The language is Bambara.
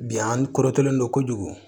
Bi an ko korontolen don kojugu